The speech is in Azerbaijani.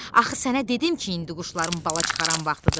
Axı sənə dedim ki, indi quşların bala çıxaran vaxtıdır.